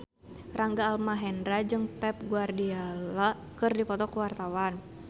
Rangga Almahendra jeung Pep Guardiola keur dipoto ku wartawan